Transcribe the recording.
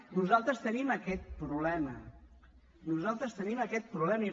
nosaltres tenim aquest problema nosaltres tenim aquest problema